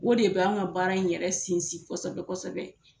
O de bɛ anw ka baara in yɛrɛ sinsin kosɛbɛ kosɛbɛ